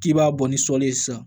K'i b'a bɔ ni sɔli ye sisan